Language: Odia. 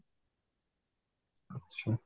ଆଚ୍ଛା